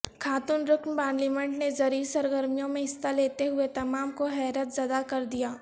خاتون رکن پارلیمنٹ نے زرعی سرگرمیوں میں حصہ لیتے ہوئے تمام کو حیرت زدہ کردیا